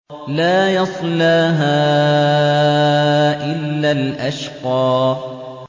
لَا يَصْلَاهَا إِلَّا الْأَشْقَى